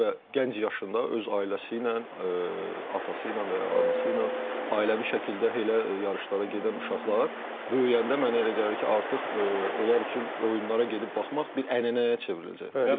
Və gənc yaşında öz ailəsi ilə, atası ilə və anası ilə ailəvi şəkildə elə yarışlara gedən uşaqlar böyüyəndə mənə elə gəlir ki, artıq onlar üçün oyunlara gedib baxmaq bir ənənəyə çevriləcək.